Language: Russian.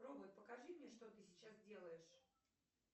робот покажи мне что ты сейчас делаешь